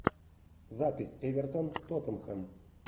запись эвертон тоттенхэм